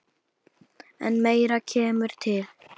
En meira kemur til.